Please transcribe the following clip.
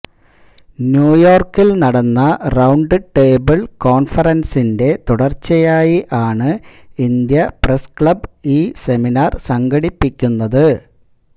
ന്യൂയോർക്കിൽ നടന്ന round table കോൺഫറൻസിന്റെ തുടർച്ചയായി ആണ് ഇന്ത്യ പ്രസ് ക്ലബ് ഈ സെമിനാര് സംഘടിപ്പിക്കുന്നത്